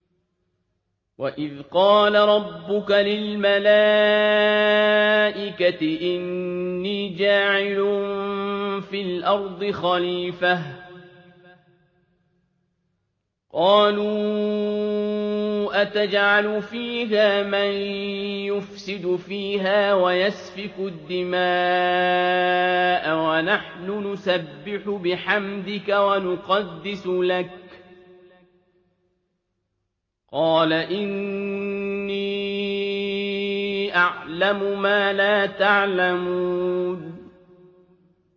وَإِذْ قَالَ رَبُّكَ لِلْمَلَائِكَةِ إِنِّي جَاعِلٌ فِي الْأَرْضِ خَلِيفَةً ۖ قَالُوا أَتَجْعَلُ فِيهَا مَن يُفْسِدُ فِيهَا وَيَسْفِكُ الدِّمَاءَ وَنَحْنُ نُسَبِّحُ بِحَمْدِكَ وَنُقَدِّسُ لَكَ ۖ قَالَ إِنِّي أَعْلَمُ مَا لَا تَعْلَمُونَ